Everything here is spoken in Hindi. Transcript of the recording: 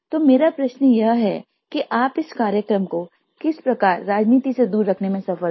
तो मेरा प्रश्न यह है कि आप इस कार्यक्रम को किस प्रकार राजनीति से दूर रखने में सफल रहे